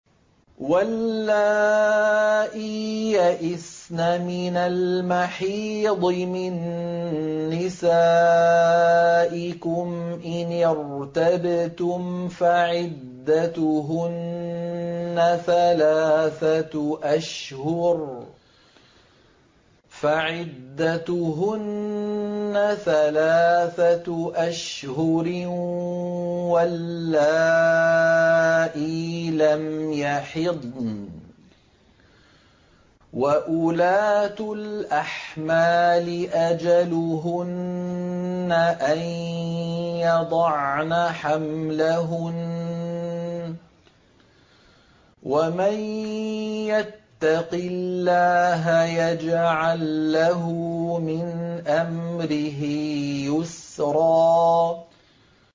وَاللَّائِي يَئِسْنَ مِنَ الْمَحِيضِ مِن نِّسَائِكُمْ إِنِ ارْتَبْتُمْ فَعِدَّتُهُنَّ ثَلَاثَةُ أَشْهُرٍ وَاللَّائِي لَمْ يَحِضْنَ ۚ وَأُولَاتُ الْأَحْمَالِ أَجَلُهُنَّ أَن يَضَعْنَ حَمْلَهُنَّ ۚ وَمَن يَتَّقِ اللَّهَ يَجْعَل لَّهُ مِنْ أَمْرِهِ يُسْرًا